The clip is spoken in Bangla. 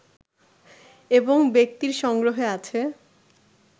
এবং ব্যক্তির সংগ্রহে আছে